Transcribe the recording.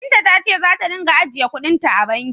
Binta ta ce za ta ringa ajiye kuɗin ta a banki.